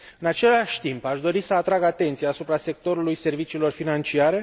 În același timp, aș dori să atrag atenția asupra sectorului serviciilor financiare.